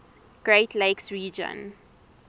great lakes region